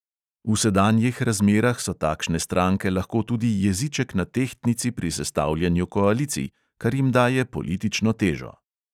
V sedanjih razmerah so takšne stranke lahko tudi jeziček na tehtnici pri sestavljanju koalicij, kar jim daje politično težo.